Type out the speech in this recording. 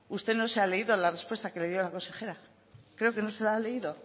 usted no se ha leído la respuesta que le dio la consejera creo que no se la ha leído